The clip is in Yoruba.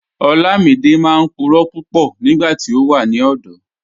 Olamídẹ máa n púrọ̀ púpọ̀ nígbàtí ó wà ní ọ̀dọ̀.